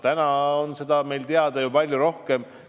Täna on meil seda teavet ju palju rohkem.